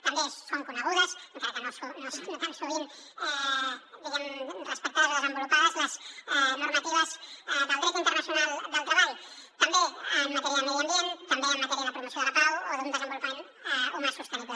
també són conegudes encara que no tan sovint diguem ne respectades o desenvolupades les normatives del dret internacional del treball també en matèria de medi ambient també en matèria de promoció de la pau o d’un desenvolupament humà sostenible